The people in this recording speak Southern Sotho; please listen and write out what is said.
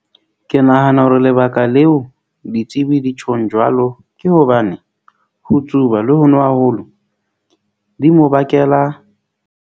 Ke nahana hore lebaka leo ditsebi di tjhong jwalo, ke hobane ho tsuba le ho nwa haholo, di mo bakela.